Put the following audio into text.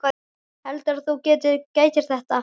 Heldurðu að þú getir þetta ekki?